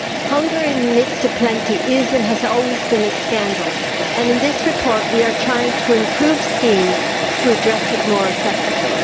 Hunger in the midst of plenty is, and has always been, a scandal, and, in this report, we are trying to improve schemes to address it more effectively.